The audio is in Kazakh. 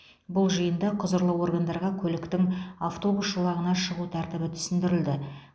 бұл жиында құзырлы органдарға көліктің автобус жолағына шығу тәртібі түсіндірілді